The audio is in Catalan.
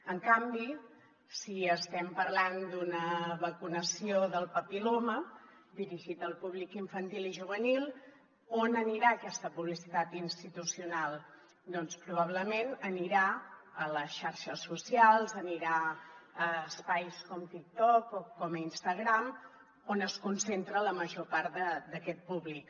en canvi si estem parlant d’una vacunació del papil·loma dirigit al públic infantil i juvenil on anirà aquesta publicitat institucional doncs probablement anirà a les xarxes socials anirà a espais com tic toc o com instagram on es concentra la major part d’aquest públic